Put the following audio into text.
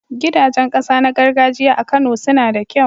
Gidajen ƙasa na gargajiya a Kano suna da kyau.